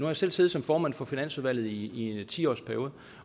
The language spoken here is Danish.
jeg selv siddet som formand for finansudvalget i en ti årsperiode